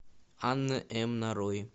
анна м нарой